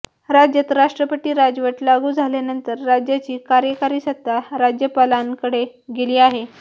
राज्यात राष्ट्रपती राजवट लागू झाल्यानंतर राज्याची कार्यकारी सत्ता राज्यपालांकडे गेली आहे